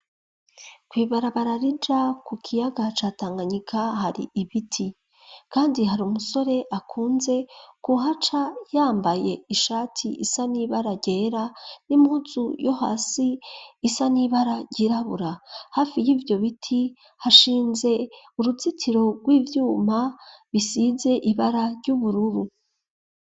kw,ibarabarar ija ku kiyaga ca tanganyika hari ibiti kandi hari umusore akunze ku haca yambaye ishati isanibara ryera n'impuzu yo hasi isanibara ryirabura hafi y'ivyo biti hashinze uruzitiro rw'ivyuma bisize ibara ry'ubururu